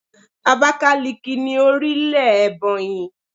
Abákáliki ni orílè Èbònyì